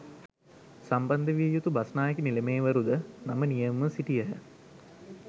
සම්බන්ධ විය යුතු බස්නායක නිලමේවරු ද නම නියමව සිටියහ